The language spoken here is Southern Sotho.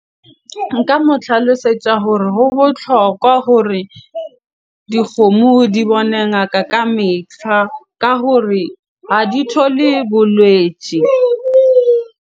Nka mo tlhalosetsa hore ho botlhokwa hore dikgomo di bone ngaka ka metlha. Ka hore ha di thole bolwetje.